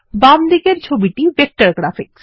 বাম দিকের ছবিটি ভেক্টর গ্রাফিক